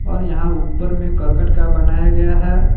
और यहां ऊपर में करकट का बनाया गया है।